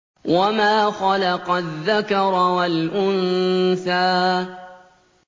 وَمَا خَلَقَ الذَّكَرَ وَالْأُنثَىٰ